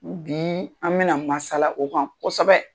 Bi an bɛna masala o kan kosɛbɛ